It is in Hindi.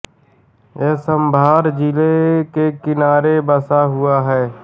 यह साँभर झील के किनारे बसा हुआ है